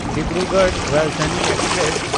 Dibrugarh Rajdhani express